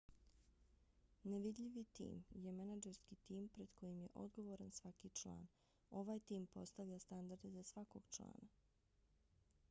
nevidljivi tim je menadžerski tim pred kojim je odgovoran svaki član. ovaj tim postavlja standarde za svakog člana